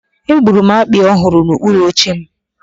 Egburu m akpị ọ hụrụ n'okpuru oche m.